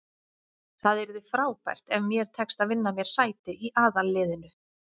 Það yrði frábært ef mér tekst að vinna mér sæti í aðalliðinu.